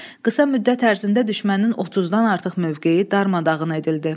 Qısa müddət ərzində düşmənin 30-dan artıq mövqeyi darmadağın edildi.